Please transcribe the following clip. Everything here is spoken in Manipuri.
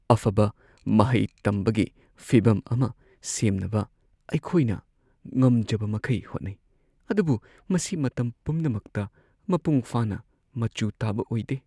ꯑꯐꯕ ꯃꯍꯩ ꯇꯝꯕꯒꯤ ꯐꯤꯚꯝ ꯑꯃ ꯁꯦꯝꯅꯕ ꯑꯩꯈꯣꯏꯅ ꯉꯝꯖꯕꯃꯈꯩ ꯍꯣꯠꯅꯩ, ꯑꯗꯨꯕꯨ ꯃꯁꯤ ꯃꯇꯝ ꯄꯨꯝꯅꯃꯛꯇ ꯃꯄꯨꯡ ꯐꯥꯅ ,ꯃꯆꯨ ꯇꯥꯕ ꯑꯣꯏꯗꯦ꯫